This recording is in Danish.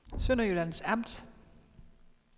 Sønderjyllands Amt